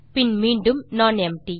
பின் மீண்டும் நானெம்ப்டி